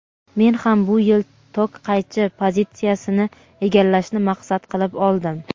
Men ham bu yil tok qaychi pozitsiyasini egallashni maqsad qilib oldim.